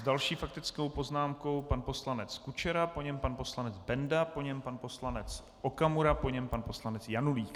S další faktickou poznámkou pan poslanec Kučera, po něm pan poslanec Benda, po něm pan poslanec Okamura, po něm pan poslanec Janulík.